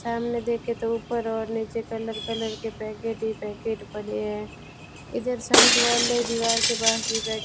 सामने देखे तो ऊपर ओर निचे कलर कलर के पैकेट ही पैकेट पड़े हैं इधर साइड वाले दिवार के पास ही बेड --